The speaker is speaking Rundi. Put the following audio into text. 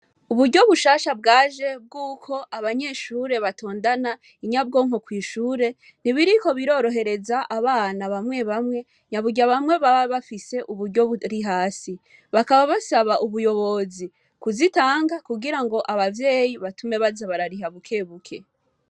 Uburyo bushasha bwaje bw'uko abanyeshure batondana inyabwonko kw'ishure ntibiriko birorohereza abana bamwe bamwe nyaburya bamwe baba bafise uburyo buri hasi bakaba basaba ubuyobozi kuzitanka kugira ngo abavyeyi batume baza barariha bukebuke.